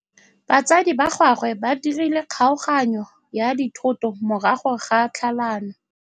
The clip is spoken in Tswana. Batsadi ba gagwe ba dirile kgaoganyô ya dithoto morago ga tlhalanô.